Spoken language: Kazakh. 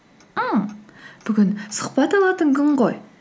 бүгін сұхбат алатын күн ғой